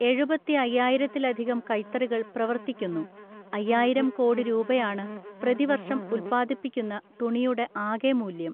എഴുപത്തി അയ്യായിരത്തിലധികം കൈത്തറികൾ പ്രവർത്തിക്കുന്നു. അയ്യായിരം കോടി രൂപയാണ് പ്രതിവർഷം ഉത്പാദിപ്പിക്കുന്ന തുണിയുടെ ആകെ മൂല്യം .